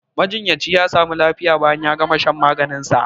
Majinyacin ya sami lafiya bayan ya gama shan maganin sa